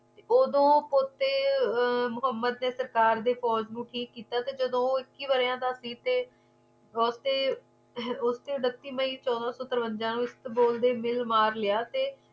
ਓਦੋ ਉਤੇ ਦੇ ਸਰਕਾਰ ਵਿੱਚ ਦੇ ਪੋਜ ਨੂੰ ਠੀਕ ਕੀਤਾ ਜਦੋ ਇੱਕੀ ਵਰ੍ਹਿਆਂ ਦਾ ਸੀ ਤੇ ਬੱਤੀ ਮਈ ਚੋਦਾਂ ਸੋ ਤਰਵੰਜਾ ਉਸਤ ਬੋਲ ਤੇ ਮਿਲ ਮਾਰ ਲਿਆ